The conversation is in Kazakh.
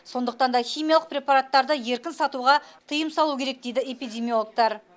сондықтан да химиялық препараттарды еркін сатуға тыйым салу керек дейді эпидемиологтар